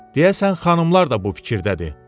Deyəsən xanımlar da bu fikirdədir.